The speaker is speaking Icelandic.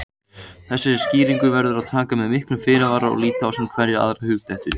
Þessari skýringu verður að taka með miklum fyrirvara og líta á sem hverja aðra hugdettu.